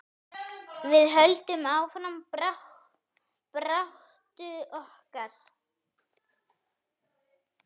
Við höldum áfram baráttu okkar.